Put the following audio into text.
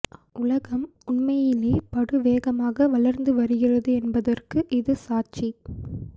உலகம் உண்மையிலே படு வேகமாக வளர்ந்து வருகிறது என்பதற்கு இது சாட்சி